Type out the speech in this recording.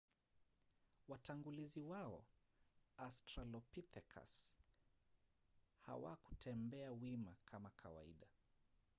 watangulizi wao australopithecus hawakutembea wima kama kawaida